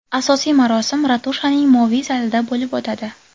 Asosiy marosim ratushaning moviy zalida bo‘lib o‘tadi.